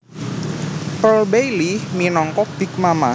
Pearl Bailey minangka Big Mama